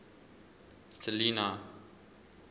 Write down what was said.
selinah